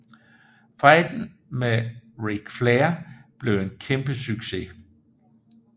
Fejden med Ric Flair blev en kæmpe succes